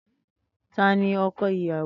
Tani ọkọ iyawo?